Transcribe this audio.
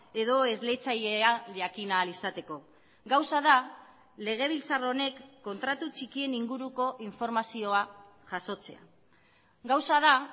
edo esleitzailea jakin ahal izateko gauza da legebiltzar honek kontratu txikien inguruko informazioa jasotzea gauza da